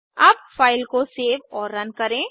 अब फ़ाइल को सेव और रन करें